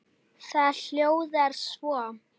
Það hljóðar svo